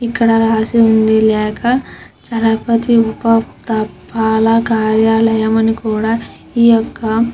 ఇక్కడ రాసే ఉంది. చలపతి ఉప తపాలా కార్యాలయం అని కూడా ఈ యొక్క--